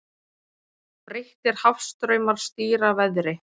Breyttir hafstraumar stýra veðri